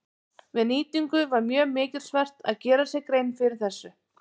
Við nýtingu var mjög mikilsvert að gera sér grein fyrir þessu.